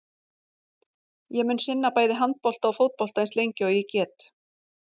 Ég mun sinna bæði handbolta og fótbolta eins lengi og ég get.